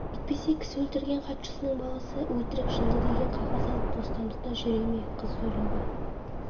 әйтпесе кісі өлтірген хатшысының баласы өтірік жынды деген қағаз алып бостандықта жүре ме қыз зорлаған